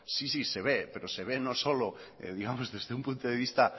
sí sí se ve pero se ve no solo digamos desde un punto de vista